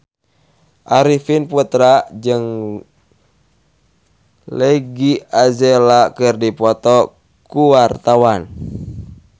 Arifin Putra jeung Iggy Azalea keur dipoto ku wartawan